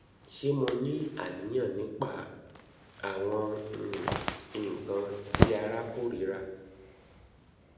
ṣe mo ni aniyan nipa awọn um nkan ti ara korira